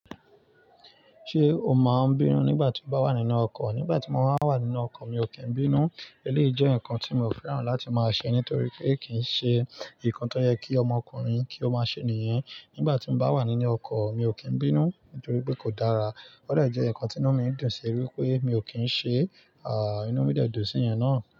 Ṣé o máa ń bínú nígbà tí o bá wà nínú ọkọ̀? Nígbà tí mo bá wà nínú ọkọ̀ mi ò kí ń bínú. Eléyìí jẹ́ nǹkan tí mi ò fẹ́ràn láti máa ṣe nítorí pé kì í ṣe nǹkan tó yẹ kí ọmọkùnrin kí ó máa ṣe nìyẹn. Nígbà tí mo bá wà nínú ọkọ̀ mi ò kí ń bínú nítorí pé kò dára. Ó dẹ̀ jẹ́ ǹkan tí inú mi ń dùn ṣí wípé mi ò kí ń ṣe, à, inú mi dẹ̀ dùn sí ìyan náà.